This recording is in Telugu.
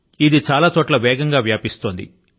ఇది చాలా చోట్ల వేగం గా వ్యాపిస్తోంది